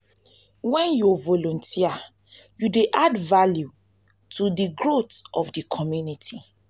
wen yu volunteer yu dey add value to di growth of di community